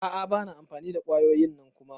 A'a bana amfani da kwayoyin nan Kuma.